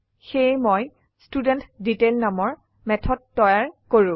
সেয়ে মই ষ্টুডেণ্টডিটেইল নামৰ মেথড তৈয়াৰ কৰো